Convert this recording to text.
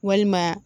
Walima